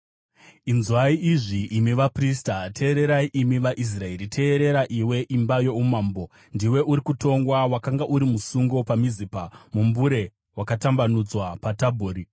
“Inzwai izvi, imi vaprista! Teererai, imi vaIsraeri! Teerera, iwe imba youmambo! Ndiwe uri kutongwa: Wakanga uri musungo paMizipa, mumbure wakatambanudzwa paTabhori.